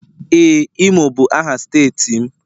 Ee, imo bụ aha steeti m